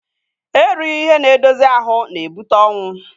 Erighi ihe n'edozi ahụ n'ebute ọnwụ